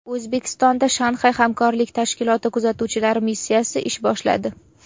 O‘zbekistonda Shanxay hamkorlik tashkiloti kuzatuvchilar missiyasi ish boshladi.